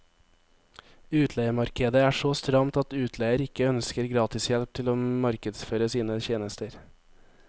Utleiemarkedet er så stramt at utleier ikke ønsker gratishjelp til å markedsføre sine tjenester.